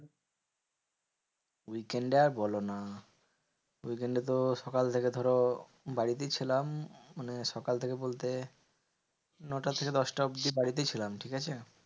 Weekend এ আর বলোনা, weekend তো সকাল থেকে ধরো বাড়িতেই ছিলাম। মানে সকাল থেকে বলতে নটা থেকে দশ টা অব্দি বাড়িতেই ছিলাম, ঠিকাছে?